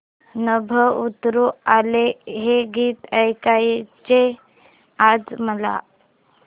नभं उतरू आलं हे गीत ऐकायचंय आज मला